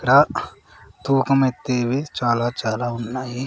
ఇక్కడ తూకం ఎత్తేవి చాలా చాలా ఉన్నాయి.